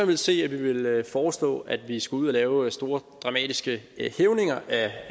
vil se at vi vil foreslå at vi skal ud at lave store dramatiske hævninger